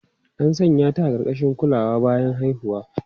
An sanya ta a ƙarƙashin kulawa bayan haihuwa.